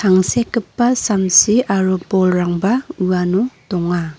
tangsekgipa samsi aro bolrangba uano donga.